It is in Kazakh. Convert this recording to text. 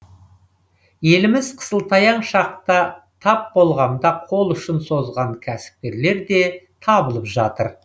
еліміз қысылтаяң шаққа тап болғанда қол ұшын созған кәсіпкерлер де табылып жатыр